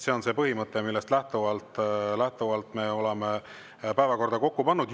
See on see põhimõte, millest lähtuvalt me oleme päevakorda kokku pannud.